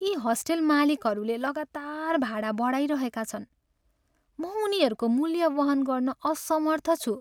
यी हस्टेल मालिकहरूले लगातार भाडा बढाइरहेका छन्, म उनीहरूको मूल्य वहन गर्न असमर्थ छु।